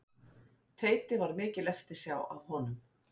Teiti var mikil eftirsjá af honum.